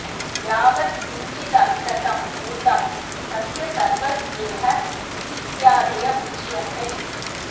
यावत् किंचिदवितथं भूतं तस्य सर्वस्येह स्थित्यादय उच्यन्त इति